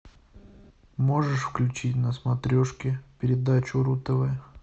можешь включить на смотрешке передачу ру тв